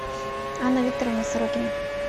анна викторовна сорокина